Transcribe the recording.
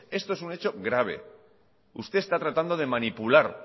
esto es un hecho grave usted está tratando de manipular